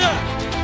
Hər kəsə!